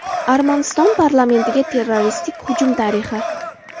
Armaniston parlamentiga terroristik hujum tarixi.